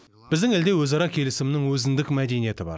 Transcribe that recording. біздің елде өзара келісімнің өзіндік мәдениеті бар